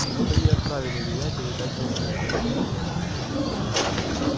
вот они и отправили меня передать вам это